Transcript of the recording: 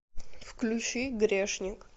включи грешник